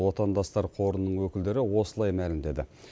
отандастар қорының өкілдері осылай мәлімдеді